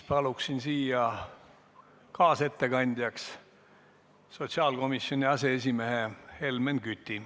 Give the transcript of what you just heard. Palun kaasettekandjaks sotsiaalkomisjoni aseesimehe Helmen Küti.